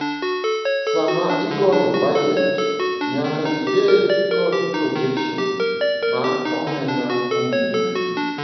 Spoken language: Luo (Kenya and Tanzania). Sama igoyo budget nyaka ibe kod projections mag omenda mawinjore.